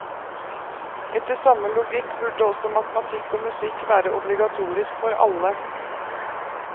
Etter samme logikk burde også matematikk og musikk være obligatorisk for alle.